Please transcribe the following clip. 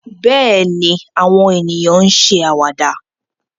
Bẹ́ẹ̀ ni, àwọn ènìyàn ń ṣe àwàdà